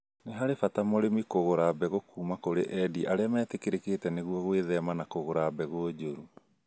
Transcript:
Nĩ harĩ bata mũrĩmi kũgũra mbegu kuma kũrĩ endia arĩa metĩkĩrĩkĩte nĩguo gwĩthema na kũgũra mbegũ njũru